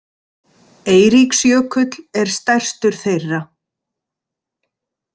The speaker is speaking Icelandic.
Eiríksjökull er stærstur þeirra.